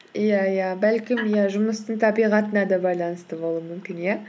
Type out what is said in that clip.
иә иә бәлкім иә жұмыстың табиғатына да байланысты болуы мүмкін иә